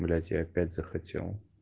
блять я опять захотел